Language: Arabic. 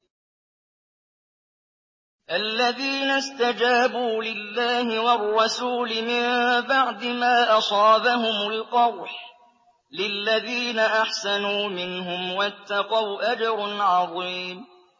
الَّذِينَ اسْتَجَابُوا لِلَّهِ وَالرَّسُولِ مِن بَعْدِ مَا أَصَابَهُمُ الْقَرْحُ ۚ لِلَّذِينَ أَحْسَنُوا مِنْهُمْ وَاتَّقَوْا أَجْرٌ عَظِيمٌ